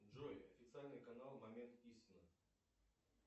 джой официальный канал момент истины